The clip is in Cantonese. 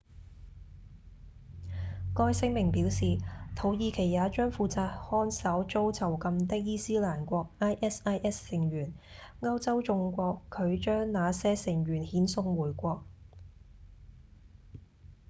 該聲明表示土耳其也將負責看守遭囚禁的伊斯蘭國 isis 成員歐洲眾國拒將那些成員遣送回國